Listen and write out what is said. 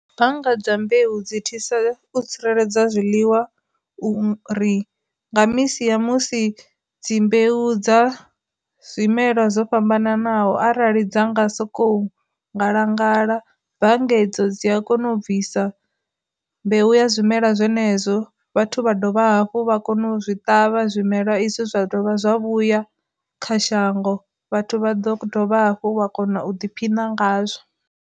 Bannga dza mbeu dzi thusa u tsireledza zwiḽiwa u ri nga misi ya musi dzi mbeu dza zwimelwa dzo fhambananaho arali dza nga sokou ngalangala, bannga hedzo dzi a kona u bvisa mbeu ya zwimela zwenezwo vhathu vha dovha hafhu vha kona u zwi ṱavha zwimela i zwithu zwa dovha zwa vhuya kha shango, vhathu vha ḓo dovha hafhu vha kona u ḓiphina ngazwo.